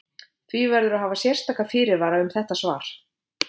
Því verður að hafa sérstaka fyrirvara um þetta svar.